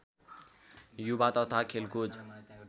युवा तथा खेलकुद